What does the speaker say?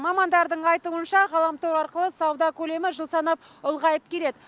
мамандардың айтуынша ғаламтор арқылы сауда көлемі жыл санап ұлғайып келеді